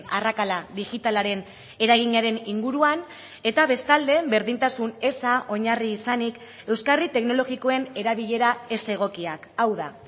arrakala digitalaren eraginaren inguruan eta bestalde berdintasun eza oinarri izanik euskarri teknologikoen erabilera ez egokiak hau da